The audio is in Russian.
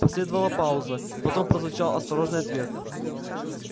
последовала пауза потом прозвучал осторожный ответ